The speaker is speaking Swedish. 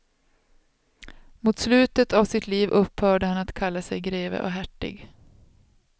Mot slutet av sitt liv upphörde han att kalla sig greve och hertig.